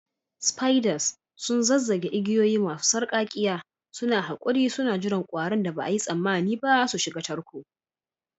Spiders sun zazzage igiyoyi masu sarƙaƙƙiya, suna haƙuri suna jiran ƙwarin da ba a yi tsammani ba su shiga tarko